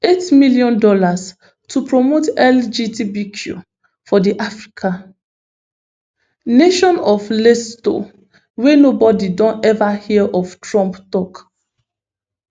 eight million dollars to promote lgbtqi for di african nation of lesotho wey nobody don ever hear of trump tok